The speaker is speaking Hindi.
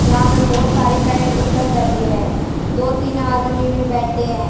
यहां पे बहोत सारी पेंट बुट सब धरी है दो तीन आदमी भी बैठे हैं।